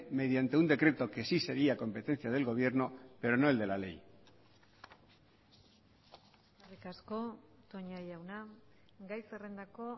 mediante un decreto que sí sería competencia del gobierno pero no el de la ley eskerrik asko toña jauna gai zerrendako